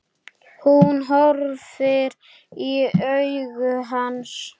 Hún horfir í augu hans.